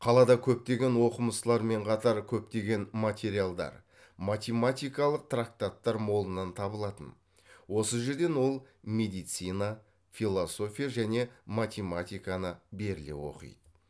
қалада көптеген оқымыстылармен қатар көптеген материалдар математикалық трактаттар молынан табылатын осы жерден ол медицина философия және математиканы беріле оқиды